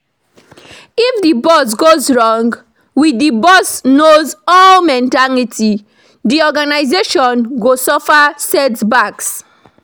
If di boss goes wrong, with the "boss knows all mentality", di organisation go suffer setbacks